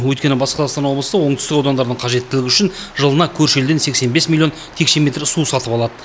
өйткені батыс қазақстан облысы оңтүстік аудандардың қажеттілігі үшін жылына көрші елден сексен бес миллион текше метр су сатып алады